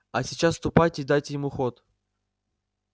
а сейчас ступайте и дайте ему ход